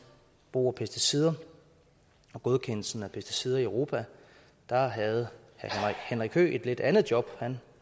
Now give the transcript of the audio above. brug af pesticider og godkendelsen af pesticider i europa havde herre henrik høegh et lidt andet job han